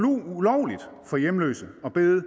ulovligt for hjemløse at bede